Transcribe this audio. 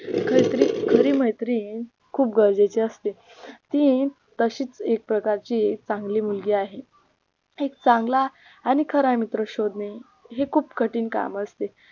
खरी मैत्रीण खूप गरजेचे असते ती तशीच एक प्रकारची चांगली मुलगी आहे एक चांगला आणि खरा मित्र शोधणे हे खूप कठीण काम असते